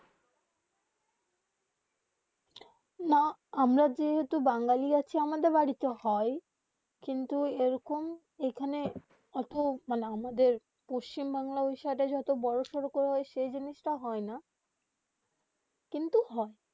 না আমরা যেই বাঙালি আছি আমাদের বাড়ি তে হয়ে কিন্তু যেই কোন এখানে অটো মানে আমাদের পশ্চিম বাংলা সাইড যত বোরো সরো করা হয়ে সেই জিনিসতা হয়ে না কিন্তু হয়ে